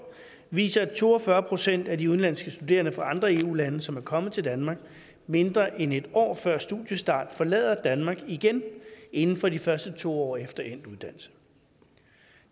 viser at to og fyrre procent af de udenlandske studerende fra andre eu lande som er kommet til danmark mindre end et år før studiestart forlader danmark igen inden for de første to år efter endt uddannelse